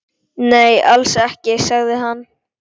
Nei, alls ekki, sagði hann.